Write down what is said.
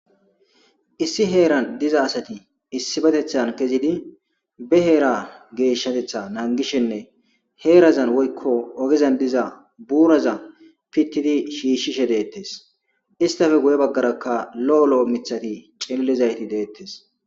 Issi heeran diza asati issibetethan kezidi behera geeshshatetha naangishenne heerazan woykko ogezan diza buuraza pittidi shiishshishe deettes istafe guye baggarakka lo7o lo7o mithati cillizayti deettes.